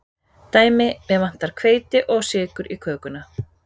Dæmi: Mig vantar hveiti og sykur í kökuna.